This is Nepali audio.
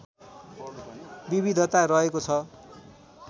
विविधता रहेको छ